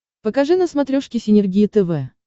покажи на смотрешке синергия тв